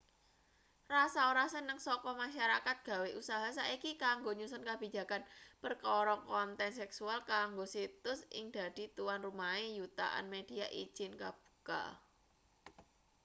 rasa ora seneng saka masarakat gawe usaha saiki kanggo nyusun kabijakan perkara konten seksual kanggo situs ing dadi tuanrumahe yutaan media ijin-kabuka